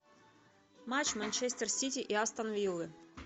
матч манчестер сити и астон виллы